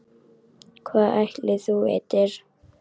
Hvað ætli þú vitir?